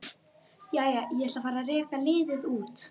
Jæja, ég ætla að fara að reka liðið út.